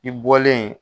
I bɔlen